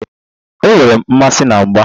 Enwere m mmasị na mgba.